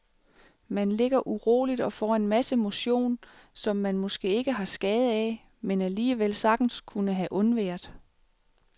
Man ligger uroligt og får en masse motion, som man måske ikke har skade af, men alligevel sagtens kunne have undværet.